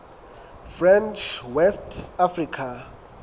french west africa